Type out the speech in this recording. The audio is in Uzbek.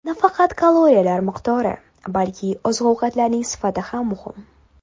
Nafaqat kaloriyalar miqdori, balki oziq-ovqatlarning sifati ham muhim.